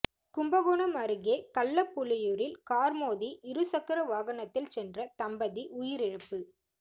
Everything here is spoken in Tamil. கும்பகோணம் அருகே கள்ளப்புலியூரில் கார் மோதி இருசக்கர வாகனத்தில் சென்ற தம்பதி உயிரிழப்பு